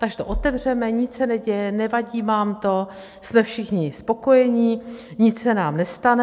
Takže to otevřeme, nic se neděje, nevadí vám to, jsme všichni spokojení, nic se nám nestane.